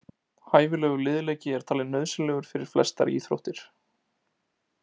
Hæfilegur liðleiki er talinn nauðsynlegur fyrir flestar íþróttir.